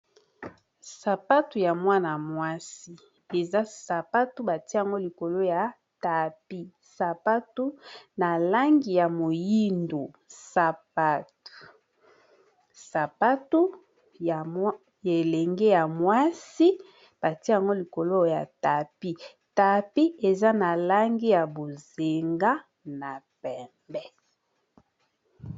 Sapatu ya mwana-mwasi eza sapatu bati yango likolo ya tapi sapatu na langi ya moyindo sapatu ya elenge ya mwasi batia yango likolo ya tapi ,tapi eza na langi ya bozenga na pembe.